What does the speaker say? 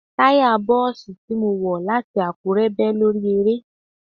Táya Bọ́ọ̀sì tí mo wọ̀ láti Àkúrẹ́ bẹ́ lórí aré.